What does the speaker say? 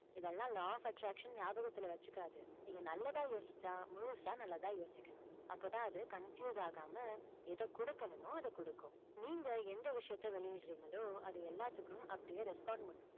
இதையெல்லாம் law of attraction ஞாபகத்துல வச்சுக்காது. நீங்க நல்லதா யோசிச்சா, முழுசா நல்லதா யோசிக்கணும். அப்போதான் அது confuse ஆகாம, எதை கொடுக்கணுமோ, அதை கொடுக்கும். நீங்க எந்த விஷயத்தை வெளியிடறீங்களோ, அது எல்லாத்துக்கும் அப்படியே respond பண்ணும்.